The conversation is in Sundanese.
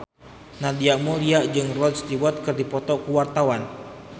Nadia Mulya jeung Rod Stewart keur dipoto ku wartawan